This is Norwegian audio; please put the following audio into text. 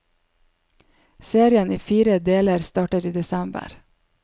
Serien i fire deler starter i september.